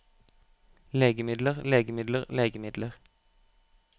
legemidler legemidler legemidler